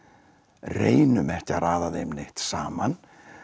reynum ekki að raða þeim neitt saman